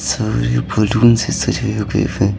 सारे बलून से सज़े हुवे है।